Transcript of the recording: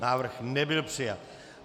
Návrh nebyl přijat.